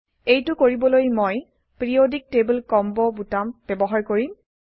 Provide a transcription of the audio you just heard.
এইটো কৰিবলৈ মই পিৰিয়ডিক টেবল কম্বো বোতাম ব্যবহাৰ কৰিম